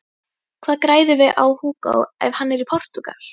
Hvað græðum við á Hugo ef hann er í Portúgal?